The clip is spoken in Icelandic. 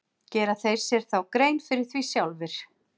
Gera þeir sér þá grein fyrir því sjálfir?